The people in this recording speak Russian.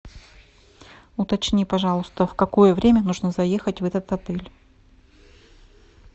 уточни пожалуйста в какое время нужно заехать в этот отель